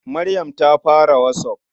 Maryam ta fara WhatsApp.